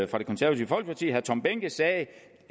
fra det konservative folkeparti herre tom behnke sagde